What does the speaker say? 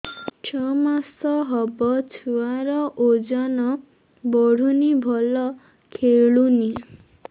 ଛଅ ମାସ ହବ ଛୁଆର ଓଜନ ବଢୁନି ଭଲ ଖେଳୁନି